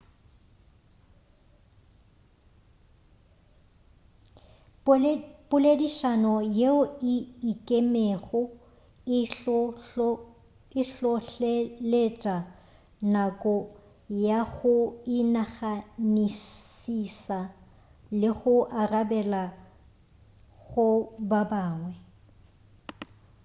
poledišano yeo e ikemego e hlohleletša nako ya go inaganišiša le go arabela go ba bangwe